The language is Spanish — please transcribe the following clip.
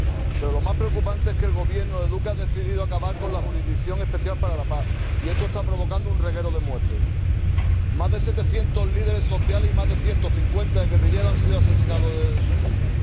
Pero lo más preocupante es que el Gobierno de Duque ha decidido acabar con la Jurisdicción Especial para la Paz, y esto está provocando un reguero de muertes más de 700 líderes sociales y más de 150 exguerrilleros han sido asesinados desde su firma